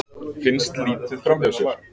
Finnst litið framhjá sér